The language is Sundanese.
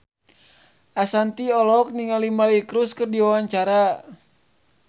Ashanti olohok ningali Miley Cyrus keur diwawancara